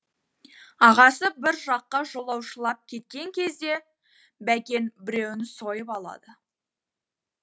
ағасы бір жаққа жолаушылап кеткен кезде бәкең біреуін сойып алады